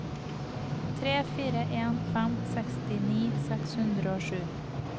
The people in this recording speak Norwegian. tre fire en fem sekstini seks hundre og sju